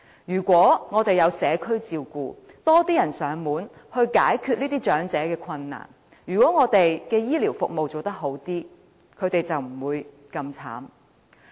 如果我們有推行社區照顧，有多一些人幫忙上門解決這些長者的困難，或我們的醫療服務做好一些，他們便不會這麼淒慘。